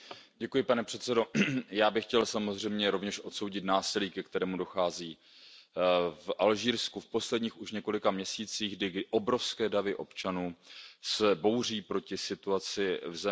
Pane předsedající, já bych chtěl samozřejmě rovněž odsoudit násilí, ke kterému dochází v Alžírsku v posledních již několika měsících, kdy se obrovské davy občanů bouří proti situaci v zemi.